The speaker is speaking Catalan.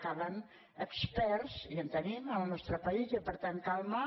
calen experts i en tenim al nostre país i per tant calma